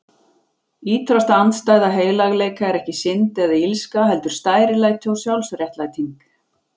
Ýtrasta andstæða heilagleika er ekki synd eða illska, heldur stærilæti og sjálfsréttlæting.